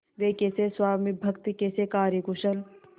वे कैसे स्वामिभक्त कैसे कार्यकुशल